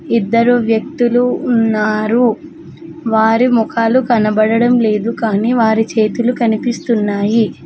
ఇద్దరు వ్యక్తులు ఉన్నారు వారి ముఖాలు కనబడడం లేదు కానీ వారి చేతులు కనిపిస్తున్నాయి.